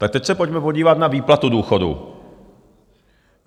Tak teď se pojďme podívat na výplatu důchodu.